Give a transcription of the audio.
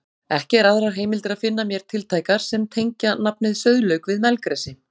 Ekki er aðrar heimildir að finna mér tiltækar sem tengja nafnið sauðlauk við melgresi.